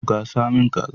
Gasa min kaza